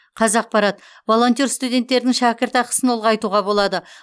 қазақпарат волонтер студенттердің шәкіртақысын ұлғайтуға болады